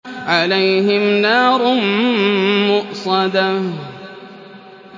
عَلَيْهِمْ نَارٌ مُّؤْصَدَةٌ